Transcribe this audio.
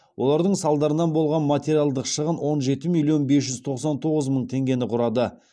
олардың салдарынан болған материалдық шығын он жеті миллион бес жүз тоқсан тоғыз мың тенгені құрады